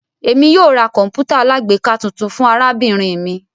Emi yóò ra kọǹpútà alágbèéká tuntun fun arabinrin mi